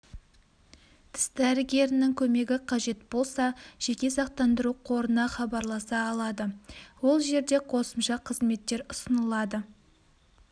тіс дәрігерінің көмегі қажет болса жеке сақтандыру қорына хабарласа алады ол жерде қосымша қызметтер ұсынылады